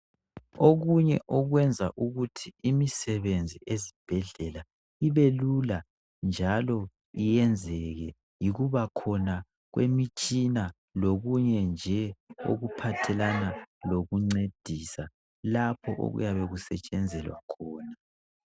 Okunye okwenza ukuthi imisebenzi esibhedlela ibelula njalo iyenzeke, yikubakhona kwemitshina lokunye nje okuphathelana lokuncedisa lapho okuyabe kusetshenzelwa khona.